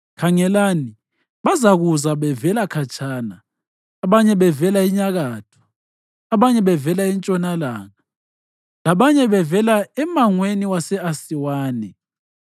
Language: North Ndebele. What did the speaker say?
Khangelani, bazakuza bevela khatshana, abanye bevela enyakatho, abanye bevela entshonalanga labanye bevela emangweni wase-Asiwani.”